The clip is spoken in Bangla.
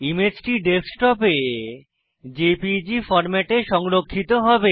ইমেজটি ডেস্কটপে জেপিইজি ফরম্যাটে সংরক্ষিত হবে